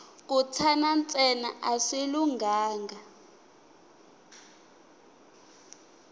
ku tshana ntsena a swi lunghanga